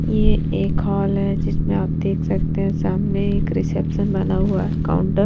ये एक हॉल है जिसमें आप देख सकते हैं सामने एक रिसेप्शन बना हुआ है काउन्टर ।